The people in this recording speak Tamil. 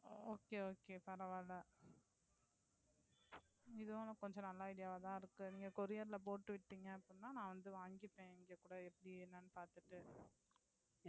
Okay okay பரவாயில்ல இதுவும் கொஞ்சம் நல்ல idea வ தான் இருக்கு நீங்க courier ல போட்டு விட்டிங்கனா அப்படின்னா நான் வந்து வாங்கிப்பேன் இங்க கூட எப்படி என்னனு பாத்திட்டு.